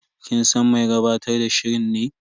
Kin san mai gabatar da shirin ne?